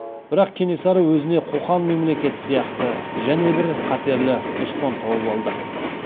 бірақ кенесары өзіне қоқан мемлекеті сияқты және бір қатерлі дұшпан тауып алды